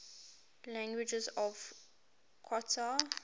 languages of qatar